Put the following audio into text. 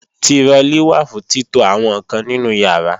Tirọlí wà fún títo àwọn ǹkan nínú ìyàrá